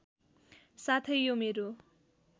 साथै यो मेरो